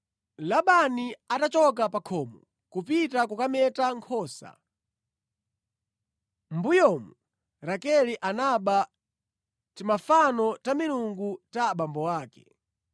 Labani atachoka pa khomo kupita kukameta nkhosa, mʼmbuyomu Rakele anaba timafano ta milungu ta abambo ake.